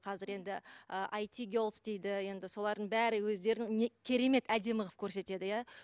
қазір енді ы айтигелс дейді енді солардың бәрі өздерін керемет әдемі қылып көрсетеді иә